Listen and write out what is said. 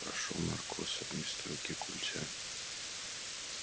прошёл наркоз а вместо руки культя